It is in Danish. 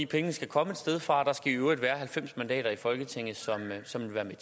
pengene skal komme et sted fra og der skal i øvrigt være halvfems mandater i folketinget som vil